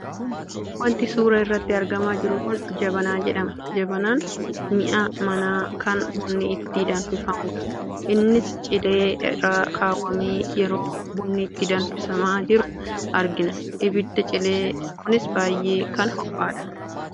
Wanti suura irratti argamaa jiru kun Jabanaa jedhama. Jabanaan mi'a manaa kan bunni itti danfifamudha. Innis cilee irra kaawwamee yeroo bunni itti danfisamaa jiru argina. Ibiddi cilee kunis baay'ee kan ho'edha.